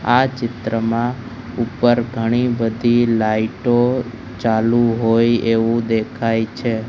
આ ચિત્રમાં ઉપર ઘણી બધી લાઈટો ચાલુ હોય એવું દેખાય છે.